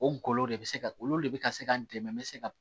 O golo de bɛ se ka olu de bɛ ka se ka n dɛmɛ n bɛ se ka